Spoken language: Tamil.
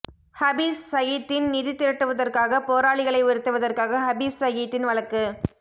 ஹபீஸ் சயீத்தின் நிதி திரட்டுவதற்காக போராளிகளை உயர்த்துவதற்காக ஹபீஸ் சயீத்தின் வழக்கு